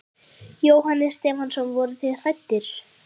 Jóhannes Stefánsson: Voruð þið hræddir?